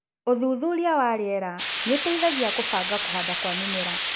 ũthuthuria wa riera nĩũteithagia kũbanga kũhanda kwa mĩmera.